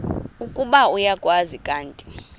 ukuba uyakwazi kanti